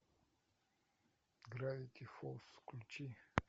гравити фолз включи